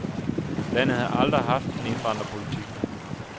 Landet har aldrig haft en indvandrerpolitik.